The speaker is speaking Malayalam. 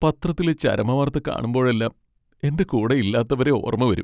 പത്രത്തിലെ ചരമവാർത്ത കാണുമ്പോഴെല്ലാം എന്റെ കൂടെ ഇല്ലാത്തവരെ ഓർമ്മ വരും.